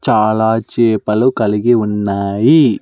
చాలా చేపలు కలిగి ఉన్నాయి.